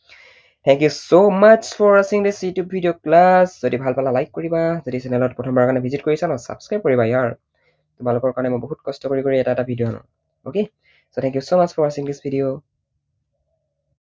Thank you so much for watching this video plus যদি ভাল পালা like কৰিবা যদি channel ত প্ৰথম বাৰৰ কাৰণে visit কৰিছা ন subscribe কৰিবা য়াৰ। তোমালোকৰ কাৰণে মই বহুত কষ্ট কৰি কৰি এটা এটা video আনো okay? so thank you so much for watching this video